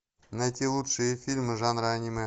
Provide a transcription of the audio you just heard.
найти лучшие фильмы жанра аниме